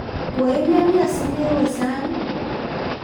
koimyoni asimawo sang'